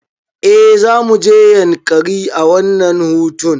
Eh zamuje yankari a wannan hutun